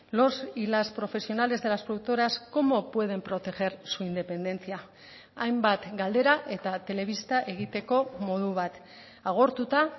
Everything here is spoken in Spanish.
los y las profesionales de las productoras cómo pueden proteger su independencia hainbat galdera eta telebista egiteko modu bat agortuta